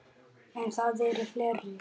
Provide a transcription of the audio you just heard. En það eru fleiri.